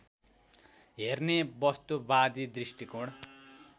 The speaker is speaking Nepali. हेर्ने वस्तुवादी दृष्टिकोण